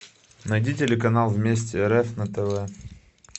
найди телеканал вместе рф на тв